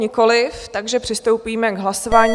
Nikoliv, takže přistoupíme k hlasování.